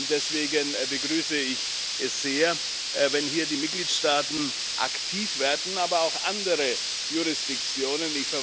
Deswegen begrüße ich es sehr, wenn hier die Mitgliedstaaten aktiv werden, aber auch andere Jurisdiktionen.